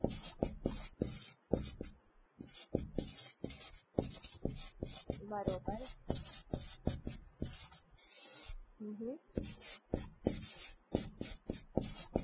બરોબર પછી શોપિંગ કરવું હોય તો શોપિંગ કરી શકું?